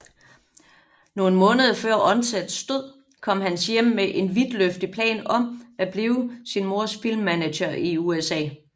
Nogle måneder før Undsets død kom Hans hjem med en vidtløftig plan om at blive sin mors filmmanager i USA